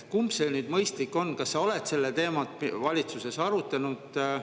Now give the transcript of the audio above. Kumb see mõistlik on ja kas sa oled seda teemat valitsuses arutanud?